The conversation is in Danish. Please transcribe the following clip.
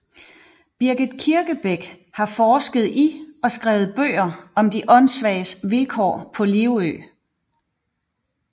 Birgit Kirkebæk har forsket i og skrevet bøger om de åndssvages vilkår på Livø